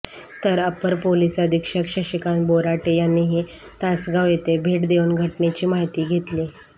तर upper police अधीक्षक शशिकांत बोराटे यांनीही तासगाव येथे भेट देऊन घटनेची माहिती घेतली